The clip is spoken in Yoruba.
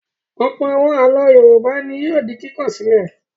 Ọ̀pọ̀ àwọn àlọ́ Yorùbá ni yóò di kíkọ sílẹ̀.